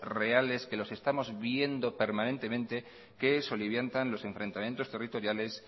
reales que los estamos viendo permanentemente que soliviantan los enfrentamientos territoriales